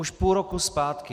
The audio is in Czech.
Už půl roku zpátky.